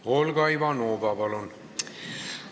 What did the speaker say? Olga Ivanova, palun!